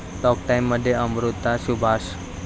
talk टाइम'मध्ये अमृता सुभाष